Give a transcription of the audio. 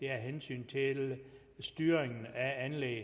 er af hensyn til styringen af anlægget